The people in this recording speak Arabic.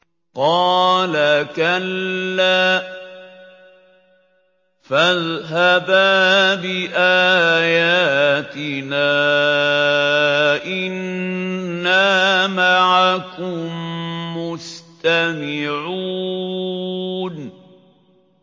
قَالَ كَلَّا ۖ فَاذْهَبَا بِآيَاتِنَا ۖ إِنَّا مَعَكُم مُّسْتَمِعُونَ